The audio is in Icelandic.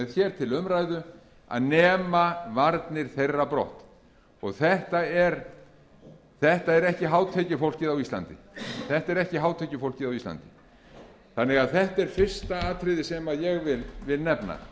hér til umræðu að nema varnir þeirra brott þetta er ekki hátekjufólkið á íslandi þetta er fyrsta atriðið sem ég vil nefna